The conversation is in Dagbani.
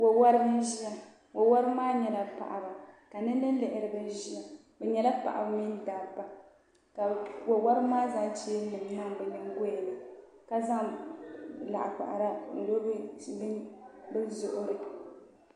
Wo woribi n ʒiya wo woribi maa nyɛla paɣaba ka nin lihi lihiriba ʒiya bi nyɛla paɣaba mini dabba ka wo woribi maa zaŋ cheeni nim niŋ bi nyingoya ni ka zaŋ laɣakpahara n lo bi zuɣuri